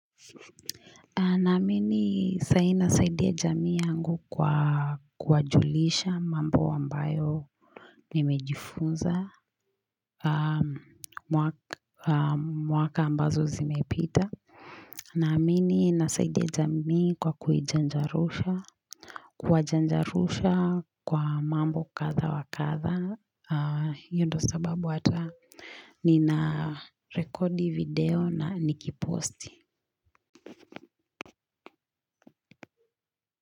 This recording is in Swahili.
Naamini saa hii nasaidia jamii yangu kwa kuwajulisha mambo ambayo nimejifunza, mwaka ambazo zimepita. Naamini nasaidia jamii kwa kuijanjarusha, kuwajanjarusha kwa mambo kadha wakadha, hiyo ndo sababu ata nina rekodi video na nikiposti.